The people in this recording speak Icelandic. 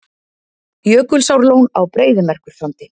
Jökulsárlón á Breiðamerkursandi.